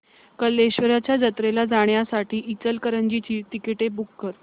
कल्लेश्वराच्या जत्रेला जाण्यासाठी इचलकरंजी ची तिकिटे बुक कर